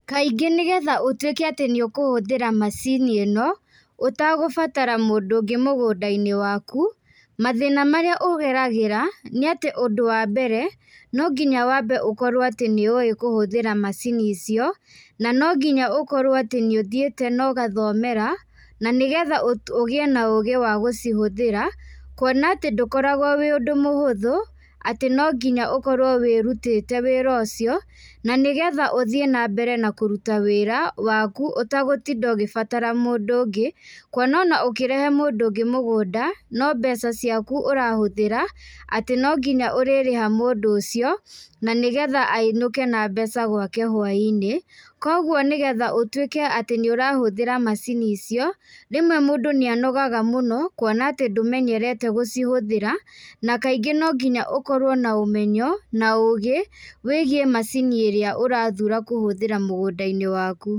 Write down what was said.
Kaingĩ nĩgetha ũtuĩke atĩ nĩ ũkũhũthĩra macini ĩno, ũtagũbatara mũndũ ũngĩ mũgũnda-inĩ waku, mathĩna marĩa ũgeragĩra, nĩ atĩ ũndũ wa mbere, no nginya wambe ũkorwo atĩ nĩ ũĩ kũhũthĩra macini icio, na no nginya ũkorwo atĩ nĩ ũthiĩte na ũgathomera, na nĩgetha ũgĩe na ũũgĩ wa gũcihũthĩra, kuona atĩ ndũkoragwo wĩ ũndũ mũhũthũ, atĩ no nginya ũkorwo wĩrutĩte wĩra ũcio, na nĩgetha ũthiĩ na mbere na kũruta wĩra, waku, ũtagũtinda ũgĩbatara mũndũ ũngĩ, kuona ona ũkĩrehe mũndũ ũngĩ mũgũnda, no mbeca ciaku ũrahtũhĩra, atĩ no nginya ũrĩrĩha mũndũ ũcio, na nĩgetha ainũke na mbeca gwake hwainĩ. Kũguo nĩgetha ũtuĩke atĩ nĩ ũrahtũhĩra macini icio, rĩmwe mũndũ nĩ anogaga mũno, kuona atĩ ndũmenyerete gũcihtũhĩra, na kaingĩ no nginya ũkorwo na ũmenyo, na ũgĩ wĩgiĩ macini ĩrĩa ũrathura kũhũthĩra mũgũnda-inĩ waku.